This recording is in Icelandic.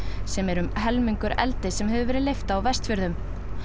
sem er um helmingur eldis sem hefur verið leyft á Vestfjörðum